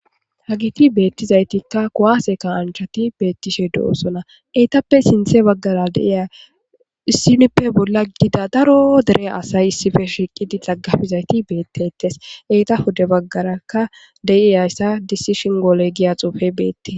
hagiti beettizaytikka kuwaase kaanchati beettishe du7osona eytappe sinthe baggara deiya issinippe bolla gida daro dere asay issife shiiqidi xaggafizayti beettetes eyta hude baggarakka deiyayssa disishin goole giya xuufe beetti.